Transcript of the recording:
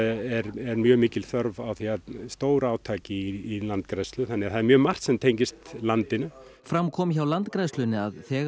er mjög mikil þörf á stórátaki í landgræðslu þannig að það er mjög margt sem tengist landinu fram kom hjá Landgræðslunni að þegar